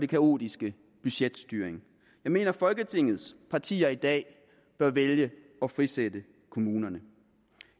kaotiske budgetstyring jeg mener at folketingets partier i dag bør vælge at frisætte kommunerne